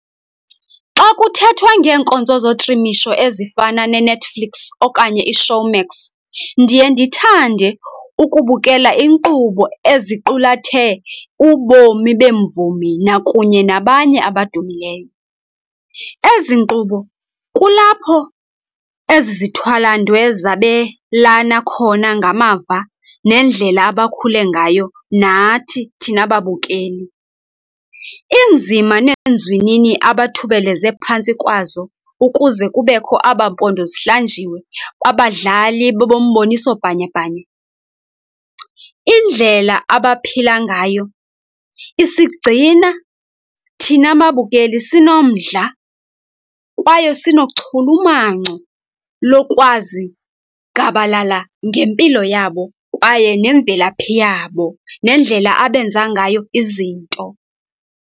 Xa kuthethwa ngeenkonzo zotrimisho ezifana neNetflix okanye iShowmax, ndiye ndithande ukubukela iinkqubo eziqulathe ubomi beemvumi nakunye nabanye abadumileyo. Ezi nkqubo kulapho ezi zithwalandwe zabelana khona ngamava nendlela abakhule ngayo nathi thina babukeli, iinzima neenzwinini abathubeleze phantsi kwazo ukuze kubekho abampondo zihlanjiwe babadlali bombomiso bhanyabhanya. Indlela abaphila ngayo isigcina thina babukeli sinomdla kwaye sinochulumanco lokwazi gabalala ngempilo yabo kwaye nemvelaphi yabo nendlela abenza ngayo izinto.